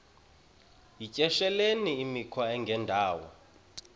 yityesheleni imikhwa engendawo